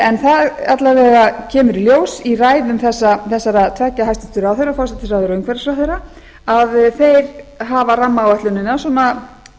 en það alla vega kemur í ljós í ræðum þessara tveggja hæstvirtur ráðherra forsætisráðherra og umhverfisráðherra að þeir hafa hafa rammaáætlunina svona